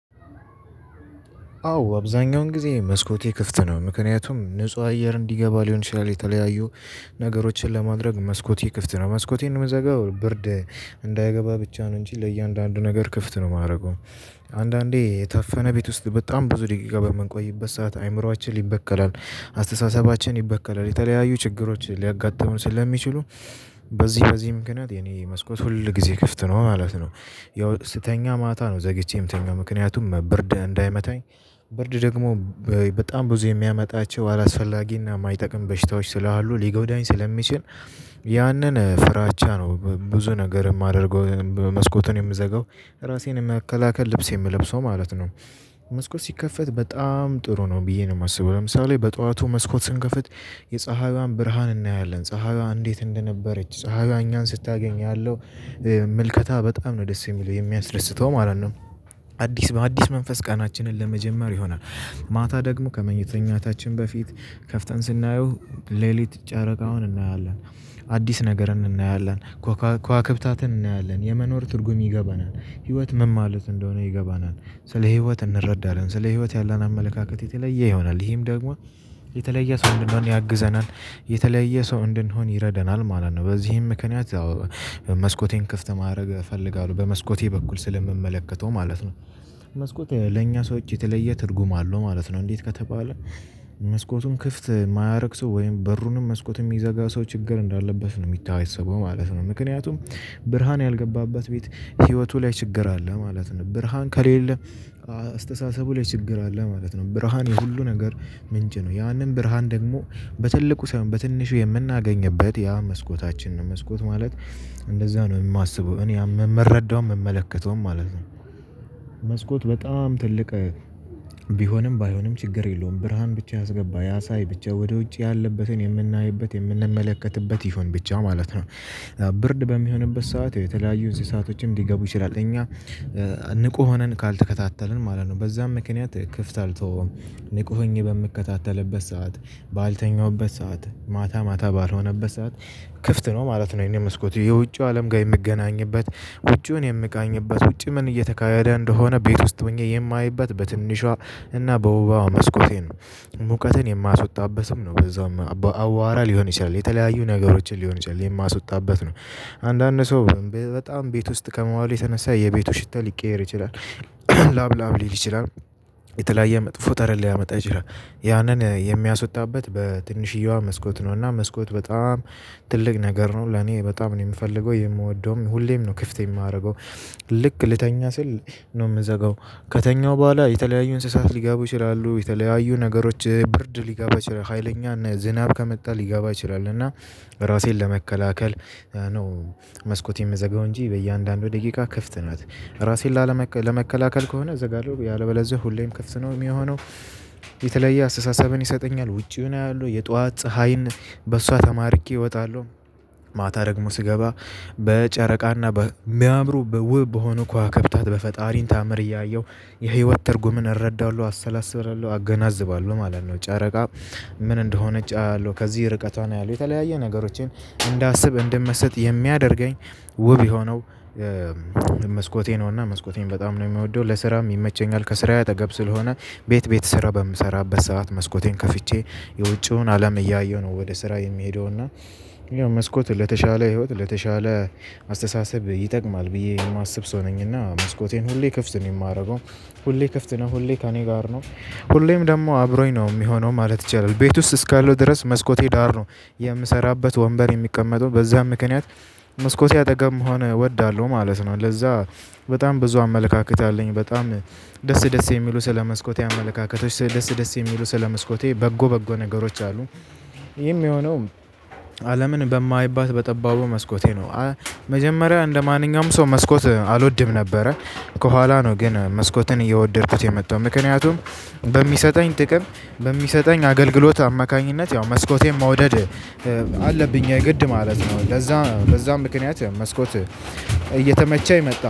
አዎ አብዛኛውን ጊዜ መስኮቴ ክፍት ነው ምክንያቱም ንጹህ አየር እንዲገባ ሊሆን ይችላል የተለያዩ ነገሮችን ለማድረግ መስኮቴ ክፍት ነው። መስኮቴን የምዘጋው ብርድ እንዳይገባ ብቻ ነው። እንጂ ለእያንዳንዱ ነገር ክፍት ነው የማረገው። አንዳንዴ የታፈነ ቤት ውስጥ በጣም ብዙ ደቂቃ በምንቆይበት ሰዓት አይምሮአችን ይበከላል። አስተሳሰባችን ይበከላል የተለያዩ ችግሮች ሊያጋጥሙን ስለሚችሉ በዚህ በዚህ ምክንያት የኔ መስኮት ሁል ጊዜ ክፍት ነው ማለት ነው። ያው ስተኛ ማታ ነው ዘግቼ ምተኛው ምክንያቱም ብርድ እንዳይመታኝ። ብርድ ደግሞ በጣም ብዙ የሚያመጣቸው አላስፈላጊና የማይጠቅም በሽታዎች ስላሉ ሊጎዳኝ ስለሚችል። ያንን ፍራቻ ነው ብዙ ነገር የማደርገው መስኮቱን የምዘጋው ራሴን የመከላከል ልብስ የምለብሰው ማለት ነው። መስኮት ሲከፈት በጣም ጥሩ ነው ብዬ ነው የማስበው። ለምሳሌ በጧቱ መስኮት ስንከፍት የፀሀይዋን ብርሃን እናያለን ፀሀይዋ እንዴት እንደነበረች ፀሀይዋ እኛን ስታገኝ ያለው ምልከታ በጣም ነው ደስ የሚለው የሚያስደስተው ማለት ነው። አዲስ በአዲስ መንፈስ ቀናችንን ለመጀመር የሆነ ማታ ደግሞ ከመኝተኛታችን በፊት ከፍተን ስናየው ሌሊት ጨረቃውን እናያለን። አዲስ ነገርም እናያለን ኮኮ ኮዋክታትን እናያለን የመኖር ትርጉም ይገባናል። ህይወት ምን ማለት እንደሆነ ይገባናል። ስለ ህይወት እንረዳናለን ስለ ህይወት ያለን አመለካከት የተለየ ይሆናል ይሄም ደግሞ የተለየ ሰው እንድንሆን ያግዘናል። የተለየ ሰው እንድንሆን ይረደናል ማለት ነው በዚህም ምክንያት መስኮቴን ክፍት ማረግ እፈልጋለሁ በመስኮቴ በኩል ስለምመለከተው ማለት ነው። መስኮት ለኛ ሰዎች የተለየ ትርጉም አለው ማለት ነው እንዴት ከተባለ። መስኮቱን ክፍት የማያረግ ሰው ወይም በሩንም መስኮት የሚዘጋ ሰው ችግር እንዳለበት ነው የሚታየሰበው ማለት ነው። ምክንያቱም ብርሃን ያልገባበት ቤት ህይወቱ ላይ ችግር አለ ማለት ነው። ብርሃን ከሌለ አስተሳሰቡ ላይ ችግር አለ ማለት ነው። ብርሃን የሁሉ ነገር ምንጭ ነው። ያንን ብርሃን ደግሞ በትልቁ ሳይሆን በትንሹ የምናገኝበት ያ መስኮታችን ነው። መስኮት ማለት እንደዛ ነው የማስበው እኔ የምረዳው የምመለከተውም ማለት ነው። መስኮት በጣም ትልቅ ቢሆንም ባይሆንም ችግር የለውም ብርሃን ብቻ ያስገባ ያሳይ ብቻ ወደ ውጭ ያለበትን የምናይበት የምንመለከትበት ይሁን ብቻ ማለት ነው። ብርድ በሚሆንበት ሰዓት የተለያዩ እንስሳቶችም ሊገቡ ይችላል እኛ ንቁ ሆነን ካልተከታተልን ማለት ነው በዛም ምክንያት ክፍት አልተወውም። ንቁ ሆኜ በምከታተልበት ሰዓት ባልተኛሁበት ሰዓት ማታ ማታ ባልሆነበት ሰዓት ክፍት ነው ማለት ነው። የኔ መስኮት የውጪው አለም ጋር የምገናኝበት። ውጩን የምቃኝበት ውጪ ምን እየተካሄደ እንደሆነ ቤት ውስጥ ሆኜ የማይበት በትንሿ እና በውቧ መስኮቴ ነው። ሙቀትን የማስወጣበትም ነው በዛውም አዋራ ሊሆን ይችላል የተለያዩ ነገሮችን ሊሆን ይችላል የማስወጣበት ነው። አንዳንድ ሰው በጣም ቤት ውስጥ ከመዋሉ የተነሳ የቤቱ ሽታ ሊቀየር ይችላል። ላብ ላብ ሊል ይችላል። የተለያየ መጥፎ ጠረን ሊያመጣ ይችላል ያንን የሚያስወጣበት በትንሽዬዋ መስኮት ነው እና መስኮት በጣም ትልቅ ነገር ነው ለኔ በጣም ነው የምፈልገው የምወደውም ሁሌም ነው ክፍት የማደርገው። ልክ ልተኛ ስል ነው የምዘጋው። ከተኛው በኋላ የተለያዩ እንስሳት ሊገቡ ይችላሉ የተለያዩ ነገሮች ብርድ ሊገባ ይችላል ሀይለኛ ዝናብ ከመጣ ሊጋቡ ይችላል እና ራሴን ለመከላከል ነው። መስኮት የምዘጋው እንጂ በእያንዳንዱ ደቂቃ ክፍት ናት ራሴን ላለመከ ለመከላከል ከሆነ እዘጋለሁ ያለበለዚያ ሁሌም ክፍት ነው የሚሆነው። የተለየ አስተሳሰብን ይሰጠኛል ውጪውን አያለው የጧት ፀሀይን በሷ ተማርኬ እወጣለሁ። ማታ ደግሞ ስገባ በጨረቃና በሚያምሩ በውብ በሆኑ ኩዋክብታት በፈጣሪ ተአምር እያየሁ የህይወት ትርጉምን እረዳለሁ አሰላስላለሁ አገናዝባለሁ ማለት ነው። ጫረቃ ምን እንደሆነች አያለሁ ከዚህ ርቀቷን አያለው የተለያየ ነገሮችን እንዳስብ እንድመሰጥ የሚያደርገኝ። ውብ የሆነው መስኮቴ ነውና መስኮቴን በጣም ነው የምወደው። ለስራም ይመቸኛል። ከስራዬ አጠገብ ስለሆነ ቤት ቤት ስራ በምሰራበት ሰዓት መስኮቴን ከፍቼ የውጪውን አለም እያየሁ ነው ወደ ስራ የሚሄደው እና። መስኮቱ ለተሻለ ህይወት ለተሻለ አስተሳሰብ ይጠቅማል ብዬ የማስብ ሰው ነኝና መስኮቴን ሁሌ ክፍት ነው የማደርገው። ሁሌ ክፍት ነው ሁሌ ከእኔ ጋር ነው። ሁሌም ደግሞ አብሮኝ ነው የሚሆነው ማለት ይቻላል። ቤት ውስጥ እስካለው ድረስ መስኮቴ ዳር ነው። የምሰራበት ወንበር የሚቀመጠው በዛም ምክንያት መስኮቴ አጠገብ መሆን እወዳለሁ ማለት ነው። ለዛ በጣም ብዙ አመለካከት አለኝ በጣም ደስ ደስ የሚሉ ስለ መስኮቴ አመለካከቶች ደስ ደስ የሚሉ ስለ መስኮቴ በጎ በጎ ነገሮች አሉ። ይህም የሆነው አለምን በማይባት በጠባቡ መስኮቴ ነው። መጀመሪያ እንደማንኛውም ሰው መስኮት አልወድም ነበረ። ከኋላ ነው ግን መስኮትን እየወደድኩት የመጣው ምክንያቱም በሚሰጠኝ ጥቅም በሚሰጠኝ አገልግሎት አማካኝነት ያው መስኮቴን መውደድ አለብኝ የግድ ማለት ነው። ለዛ በዛም ምክንያት መስኮት እየተመቸ የመጣው